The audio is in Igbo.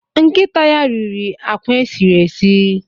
Nkịta ya riri akwa esiri esi.